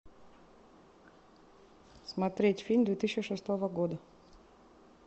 смотреть фильм две тысячи шестого года